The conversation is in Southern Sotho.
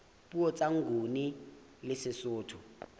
puo tsa nguni le sesotho